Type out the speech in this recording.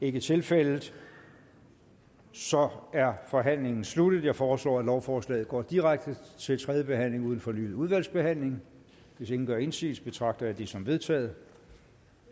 ikke tilfældet så er forhandlingen sluttet jeg foreslår at lovforslaget går direkte til tredje behandling uden fornyet udvalgsbehandling hvis ingen gør indsigelse betragter jeg det som vedtaget